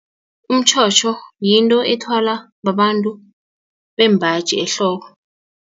Umtjhotjho yinto ethwalwa babantu bembaji ehloko.